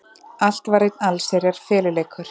Allt var einn allsherjar feluleikur.